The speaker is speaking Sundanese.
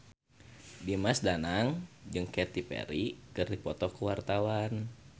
Dimas Danang jeung Katy Perry keur dipoto ku wartawan